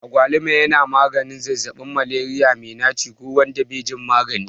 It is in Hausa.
Agwaluma yana maganin zazzabin Malaria mai naci ko wanda bai jin magani.